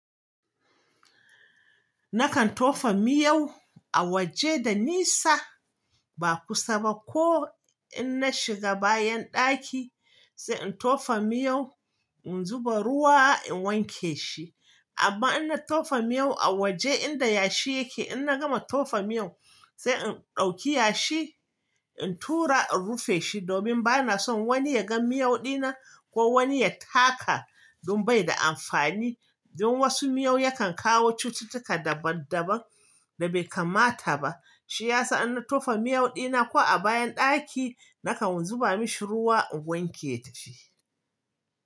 Nakan tofa miyau a waje da nisa, ba kusa ba ko in na shiga bayan ɗaki sai in tofa miyau in zuba ruwa in wanke shi. Amma in na tofa miyau a waje inda yashi yake in na gama tofa miyau, sai in ɗauki yashi in tura in rufe shi domin ba na son wani ya ga miyau dina, ko wani ya taka don bai da amfani. Don wasu miyau yakan kawo cututtuka daban daban da bai kamata ba. Shi ya sa in na tofa miyau dina ko a bayan ɗaki, nakan zuba mashi ruwa in wanke shi.